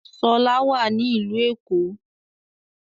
Ṣọlá wà ní ìlú Èkó